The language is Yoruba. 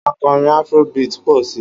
Akọrin afro beat ń pọ̀ si